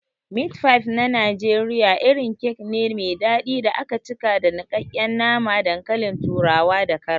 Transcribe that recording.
Meat pie na Najeriya irin kek ne me dadi da aka cika da nikakken nama, dankalin turawa da karas.